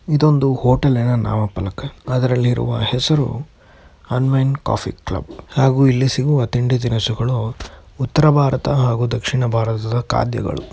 ಇದೊಂದು ಹೋಟೆಲಿನ ನಾಮಫಲಕಾದರೆ ಹೆಸರು ಅನ್ವಯಿಂಟ್ ಕಾಫಿ ಕ್ಲಬ್ ಹಾಗೂ ಇಲ್ಲಿ ಸಿಗುವ ತಿಂಡಿ ತಿನ್ನಿಸಿಗಳು ಉತ್ತರ ಭಾರತ ಹಾಗೂ ದಕ್ಷಿಣ ಭಾರತದ ಖಾದ್ಯಗಳು --